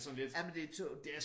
Jamen det tungt